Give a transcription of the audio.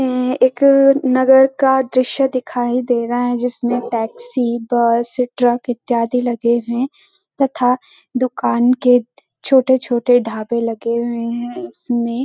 ऐे एक नगर का दृश्य दिखाई दे रहा है। जिसमें टैक्सी बस ट्रक इत्यादि लगे हैं तथा दुकान के छोटे छोटे ढाबे लगे हुए हैं इसमें।